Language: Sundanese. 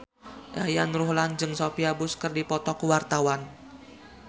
Yayan Ruhlan jeung Sophia Bush keur dipoto ku wartawan